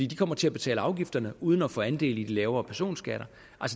de kommer til at betale afgifterne uden at få andel i de lavere personskatter